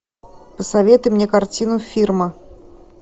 посоветуй мне картину фирма